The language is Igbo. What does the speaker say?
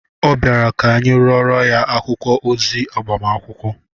Ọ bịara ka anyị rụorọ ya akwụkwọ ozi agbamakwụkwọ